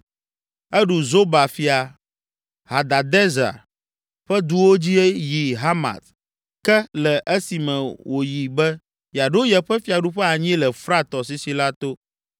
Eɖu Zoba fia, Hadadezer ƒe duwo dzi yi Hamat ke le esime wòyi be yeaɖo yeƒe fiaɖuƒe anyi le Frat tɔsisi la to.